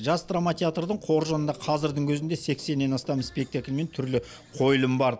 жас драма театрдың қоржынында қазірдің өзінде сексеннен астам спектакль мен түрлі қойылым бар